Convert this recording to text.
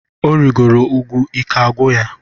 O rigoro úgwú ike agwụ ya.